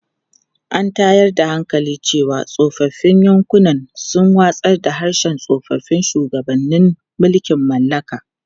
An tayar da hankali cewa tsofaffin yankunan sun watsar da harshen tsoffin shugabannin mulkin mallaka.